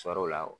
Sɔrɔ o la o